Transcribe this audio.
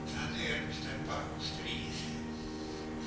Þannig er með Stebba og strýið.